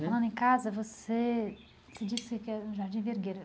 Falando em casa, você disse que é no Jardim Vergueira.